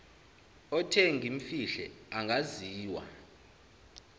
othe ngimfihle angaziwa